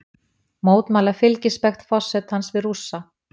Mótmæla fylgispekt forsetans við Rússa